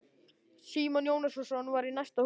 Símon Jónasson var í næsta húsi.